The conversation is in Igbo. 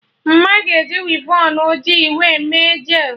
Mma ga-eji wivon ọjị wee mee jel